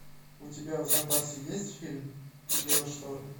у тебя в запасе есть фильм геошторм